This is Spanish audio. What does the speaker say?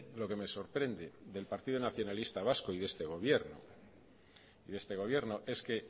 lo que me sorprende del partido nacionalista vasco y de este gobierno es que